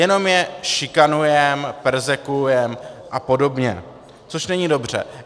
Jenom je šikanujeme, perzekvujeme a podobně, což není dobře.